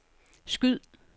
skyd